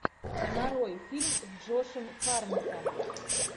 нарой фильм с джошем харнеттом